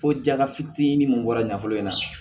Ko jala fitinin mun bɔra nafolo in na